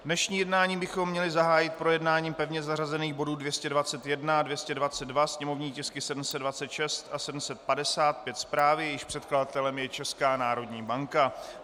Dnešní jednání bychom měli zahájit projednáním pevně zařazených bodů 221 a 222, sněmovní tisky 726 a 755, zprávy, jejichž předkladatelem je Česká národní banka.